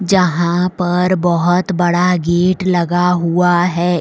जहां पर बहुत बड़ा गेट लगा हुआ हैं।